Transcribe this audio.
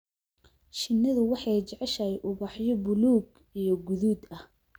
Shinnidu waxay jeceshahay ubaxyo buluug iyo guduud ah.